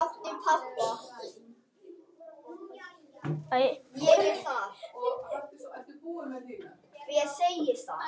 Herðar þínar bera það uppi.